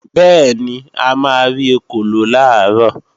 Bẹ́ẹ̀ni, a máa rí ekòló làárọ̀